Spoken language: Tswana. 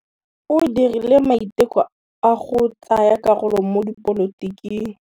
O dirile maitekô a go tsaya karolo mo dipolotiking.